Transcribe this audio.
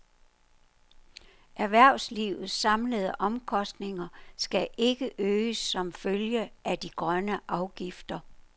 Erhvervslivets samlede omkostninger skal ikke øges som følge af de grønne afgifter.